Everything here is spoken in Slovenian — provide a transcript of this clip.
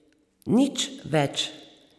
Nič več.